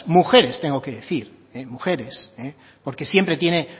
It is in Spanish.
mujeres tengo que decir mujeres porque siempre tiene